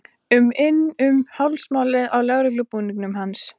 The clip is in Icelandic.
um inn um hálsmálið á lögreglubúningnum hans.